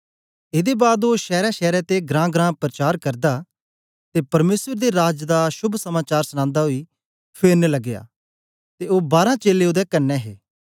एदे बाद ओ शैरशैर ते घरांघरां परचार करदा ते परमेसर दे राज दा शोभ समाचार सनांदा ओई फेरन लगया ते ओ बारां चेलें ओदे कन्ने हे